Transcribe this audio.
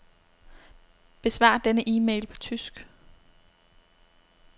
Besvar denne e-mail på tysk.